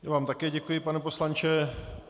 Já vám také děkuji, pane poslanče.